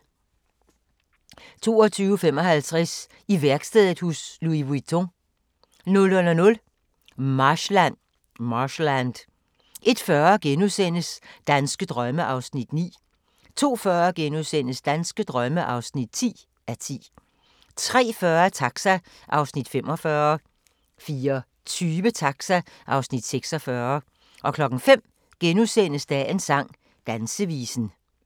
22:55: I værkstedet hos Louis Vuitton 00:00: Marshland 01:40: Danske drømme (9:10)* 02:40: Danske drømme (10:10)* 03:40: Taxa (Afs. 45) 04:20: Taxa (Afs. 46) 05:00: Dagens sang: Dansevisen *